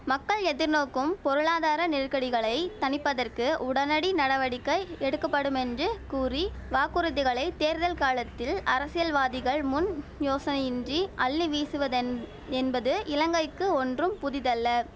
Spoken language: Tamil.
மக்கள் எதிர்நோக்கும் பொருளாதார நெருக்கடிகளை தணிப்பதற்கு உடனடி நடவடிக்கை எடுக்கப்படுமென்று கூறி வாக்குறுதிகளை தேர்தல் காலத்தில் அரசியல்வாதிகள் முன் யோசனையின்றி அள்ளி வீசுவதென் என்பது இலங்கைக்கு ஒன்றும் புதிதல்ல